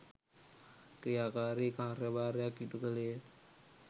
ක්‍රියාකාරී කාර්යභාරයක් ඉටු කළේය